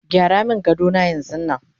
gyara min gadona yanzun Nan!